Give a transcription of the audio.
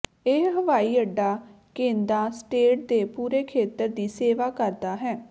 ਇਹ ਹਵਾਈ ਅੱਡਾ ਕੇਦ੍ਹਾ ਸਟੇਟ ਦੇ ਪੂਰੇ ਖੇਤਰ ਦੀ ਸੇਵਾ ਕਰਦਾ ਹੈ